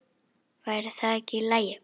Væri það ekki í lagi?